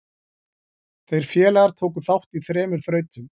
Þeir félagar tóku þátt í þremur þrautum.